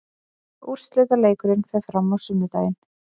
Úrslitaleikurinn fer fram á sunnudaginn.